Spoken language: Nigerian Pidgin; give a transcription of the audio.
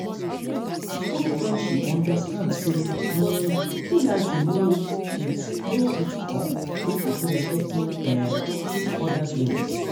true friendship understand say um loyalty no fit no fit come without respecting um each other’s limits.